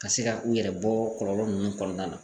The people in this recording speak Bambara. Ka se ka u yɛrɛ bɔ kɔlɔlɔ ninnu kɔnɔna na